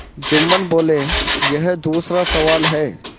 जुम्मन बोलेयह दूसरा सवाल है